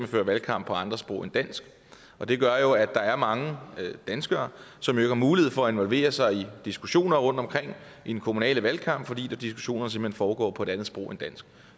fører valgkamp på andre sprog end dansk og det gør jo at der er mange danskere som ikke har mulighed for at involvere sig i diskussioner rundtomkring i den kommunale valgkamp fordi de diskussioner simpelt hen foregår på et andet sprog end dansk